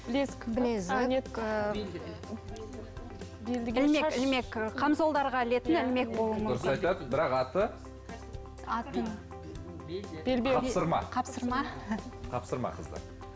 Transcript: білезік білезік комзолдарға ілетін ілмек болуы мүмкін дұрыс айтады бірақ аты атын қапсырма қапсырма қапсырма қыздар